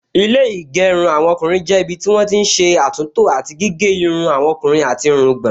Ilé ìgẹrun ọkùnrin jẹ́ ibi tí wọ́n ti n ṣé àtúntò àti gígé irun àwọn ọkùnrin àti irungbọ̀n